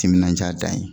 Timinandiya dan ye